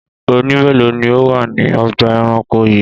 Ọ̀ọ̀nì mélòó ni ó wà ní ọgbà-ẹranko yìí?